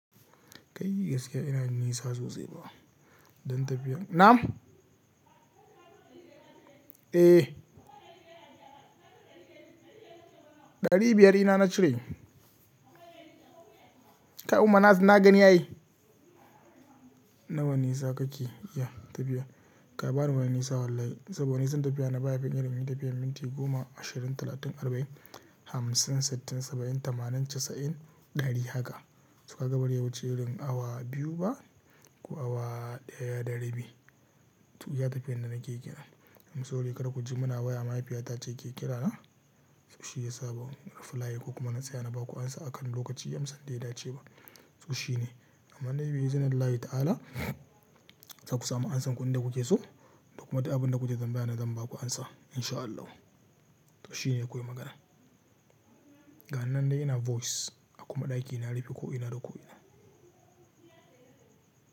Kai yi gaskiya ina nisa sosai ba. Dan tafiyan. Nam? Eh. Ɗari biyar ina na cire? Kai umma na gani ya yi. Nawa nisa kake iya tafiya? Kai ba wani nisa wallahi. Saboda nisan tafiya na ba yafin irin tafiyan minti goma, ashirin, talatin, arba'in, hamsin, sittin, saba'in, tamanin, casa'in, ɗari haka. To ka ga bazai wuce irin awa biyu ba, ko awa ɗaya da rabi. To iya tafiyan da nake kenan. Amso ri kada ku ji muna waya mahaifiyata ce ke kirana. To shi ya sa ban ruflay ko kuma na tsaya na ba ku amsa akan lokaci amsan da ya dace ba. To shi ne. Amma dai bi izinin Allah ta'ala za ku samu amsan ku inda kuke so da kuma duk abin da kuke tamba yana zan ba ku amsa in sha Allah. To shi ne kawai magana. Ga ninan dai ina voice. A kuma ɗaki na rufe ko ina da ko iina.